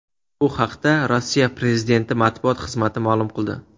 Bu haqda Rossiya prezidenti matbuot xizmati ma’lum qildi .